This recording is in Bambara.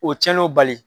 O cɛnin bali